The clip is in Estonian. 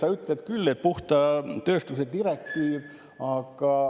Sa ütled küll, et puhta tööstuse direktiiv.